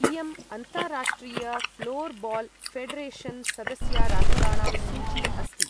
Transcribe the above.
इयं अन्ताराष्ट्रिय ऴ्लोर्बाल् ऴेडरेशन् सदस्यराष्ट्राणां सूची अस्ति।